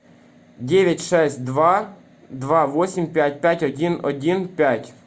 девять шесть два два восемь пять пять один один пять